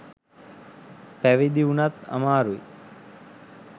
පැවිදි වුනත් අමාරුයි.